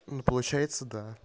ну получается да